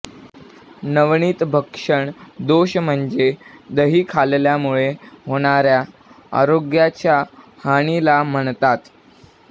नवनीत भक्षण दोष म्हणजे दही खल्ल्यामुळे होणारया आरोग्याच्या हानिला म्हणतात